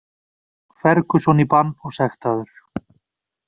Ferguson í bann og sektaður